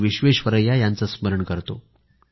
विश्वेश्वरैया यांचे स्मरण करतो